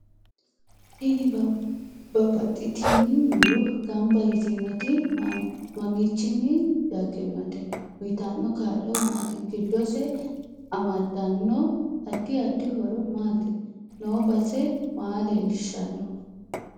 Tini babbaxitini muro ganbba yitinotti mamiichini dagginote uyiitano kaa'lo maati giddose amadanno addi addi horo maati noo base maa leelishano